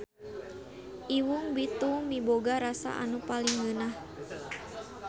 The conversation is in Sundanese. Iwung bitung miboga rasa anu paling ngeunah.